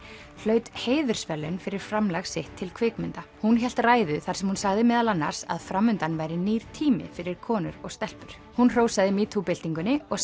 hlaut heiðursverðlaun fyrir framlag sitt til kvikmynda hún hélt ræðu þar sem hún sagði meðal annars að framundan væri nýr tími fyrir konur og stelpur hún hrósaði metoo byltingunni og